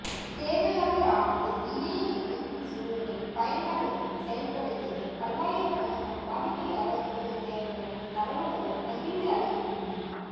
சேவையாளர் ஆனது இணையஇணைப்பின் சூழலில் பயன்பாடுகளை செயல்படுத்திட பல்லாயிரக்கணக்கான வாடிக்கையாளர்களுக்கு தேவையான தரவுகளை பகிர்ந்து அளிக்கின்றது